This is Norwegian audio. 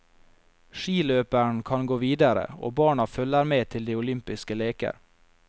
Skiløperen kan gå videre, og barna følger med til de olympiske leker.